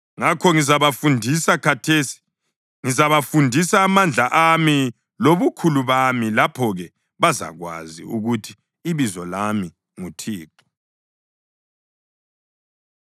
“Ngakho ngizabafundisa, khathesi ngizabafundisa amandla ami lobukhulu bami. Lapho-ke bazakwazi ukuthi ibizo lami nguThixo.”